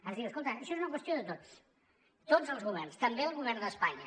ens diu escolta això és una qüestió de tots tots els governs també el govern d’espanya